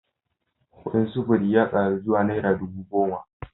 Kudin sufuri ya karu zuwa naira dubu goma